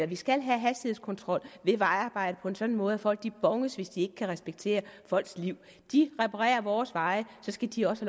vi skal have hastighedskontrol ved vejarbejde på en sådan måde at folk bones hvis de ikke kan respektere folks liv de reparerer vores veje og så skal de også